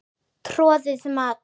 Troðið mat?